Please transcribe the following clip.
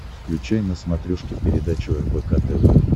включай на смотрешке передачу рбк тв